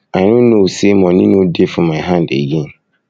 i no know say money no dey for my hand again